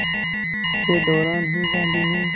के दौरान ही गांधी ने